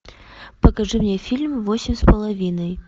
покажи мне фильм восемь с половиной